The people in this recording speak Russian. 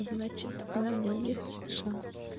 значит у меня нет шансов